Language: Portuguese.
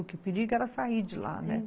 Porque o perigo era sair de lá, né?